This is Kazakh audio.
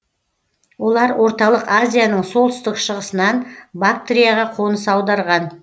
олар орталық азияның солтүстік шығысынан бактрияға қоныс аударған